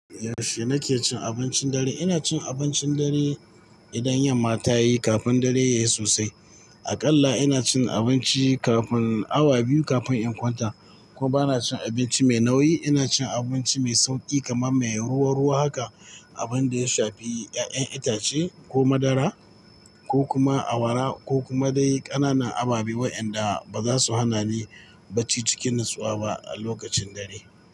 Yaushe nake cin abincin dare, ina cin abincin dare idan yanma tayi kafin dare yayi sosai. Aƙalla ina cin abinci kafin awa biyu kafin in kwanta. Kuma bana cin abinci mai nauyi, ina cin abinci mai sauƙi kamar mai ruwa-ruwa haka, abin da ya shafi 'ya'yan itace ko madara ko kuma awara ko kuma dai ƙananan ababe wa'yanda baza su hana ni bacci cikin natsuwa ba a lokacin dare.